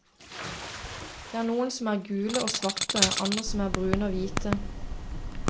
Det er noen som er gule og svarte, andre som er brune og hvite.